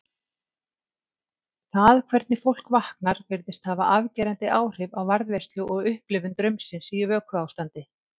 Það hvernig fólk vaknar virðist hafa afgerandi áhrif á varðveislu og upplifun draumsins í vökuástandi.